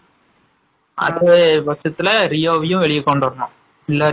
அதே வருசத்துல ரியோவையும் வெளிய கொண்டுவரனும்